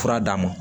Fura d'a ma